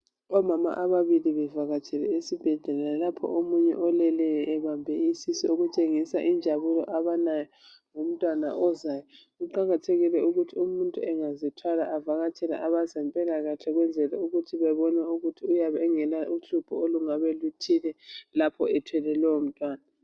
Omama ababili bevakatsela esibhedlela lapho omunye oleleyo ebambe isisu okutshengisa injabulo abalayo ngomtwana ozayo kuqakathekile ukuthi umuntu angazithwala avakatshele abezempilakahle ukwenzela ukuthi bebone ukuthi uyabe engela hlupho olungabe luthile lapho ethwele lowo mtwana